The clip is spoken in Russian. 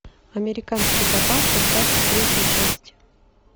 американский папаша двадцать третья часть